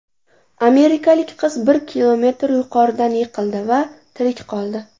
Amerikalik qiz bir kilometr yuqoridan yiqildi va tirik qoldi.